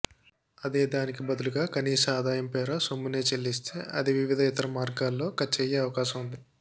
అదే దానికి బదులుగా కనీస ఆదాయం పేర సొమ్మునే చెల్లిస్తే అది వివిధ ఇతర మార్గాల్లో ఖర్చయ్యే అవకాశం వుంది